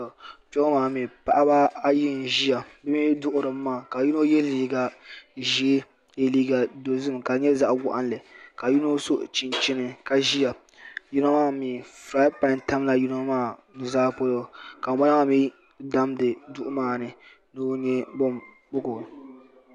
Kpe ŋɔ maa mi paɣaba ayi n ʒiya bi mi duɣiri mi maa ka yino yɛ liiga dozim ka di nyɛ zaɣa waɣinli ka yino so chinchini ka ʒiya yino maa mi firayini pan tam la yino maa nuzaa polo ka ŋun bala maa mi damdi duɣu maa ni.